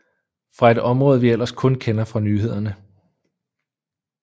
Fra et område vi ellers kun kender fra nyhederne